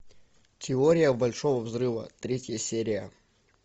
теория большого взрыва третья серия